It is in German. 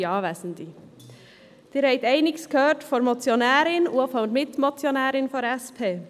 Sie haben einiges gehört von der Motionärin und der Mitmotionärin der SP.